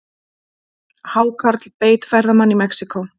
Hákarl beit ferðamann í Mexíkó